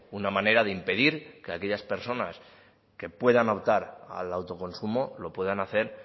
una manera de impedir que aquellas personas que puedan optar al autoconsumo lo puedan hacer